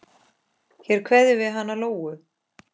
Hér kveðjum við hana Lóu.